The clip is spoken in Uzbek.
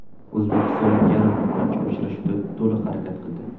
O‘zbekistonlik yarim himoyachi uchrashuvda to‘liq harakat qildi.